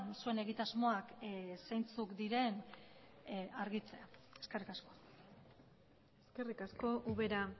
zuen egitasmoak zeintzuk diren argitzea eskerrik asko eskerrik asko ubera